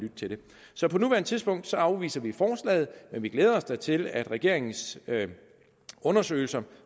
så på nuværende tidspunkt afviser vi forslaget men vi glæder os da til at af regeringens undersøgelse